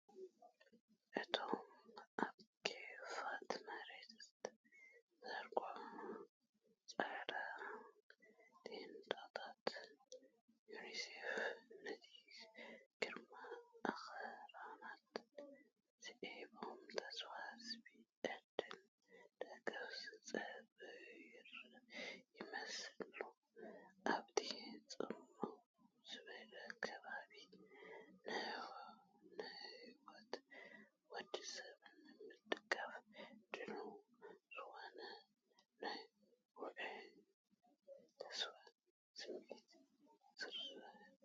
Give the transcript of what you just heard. እቶም ኣብ ክፉት መሬት ዝተዘርግሑ ጻዕዳ ቴንዳታት ዩኒሴፍ፡ ነቲ ግርማዊ ኣኽራናት ስዒቦም፡ ተስፋ ዝህብ ዕድል ደገፍ ዝጽበዩ ይመስሉ። ኣብቲ ጽምው ዝበለ ከባቢ፡ ንህይወት ወዲ ሰብ ንምድጋፍ ድሉው ዝኾነ ናይ ውዑይን ተስፋን ስምዒት ይዝርጋሕ።